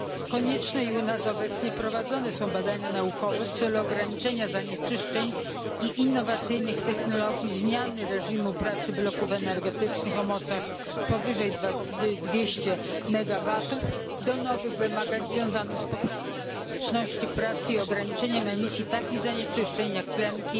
Konieczne i u nas obecnie prowadzone są badania naukowe w celu ograniczenia zanieczyszczeń i innowacyjnych technologii zmiany reżimu pracy bloków energetycznych o mocach powyżej dwustu megawatów do nowych wymagań związanych z poprawą elastyczności pracy i ograniczeniem emisji takich zanieczyszczeń jak tlenki,